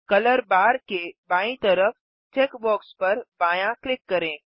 colour bar के बायीं तरफ चेकबॉक्स पर बायाँ क्लिक करें